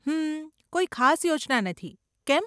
હમમમ, કોઈ ખાસ યોજના નથી, કેમ?